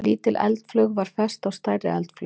Lítil eldflaug var fest á stærri eldflaug.